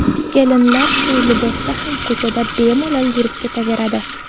Kelinlar shu libosida ham ko‘chada bemalol yurib ketaveradi.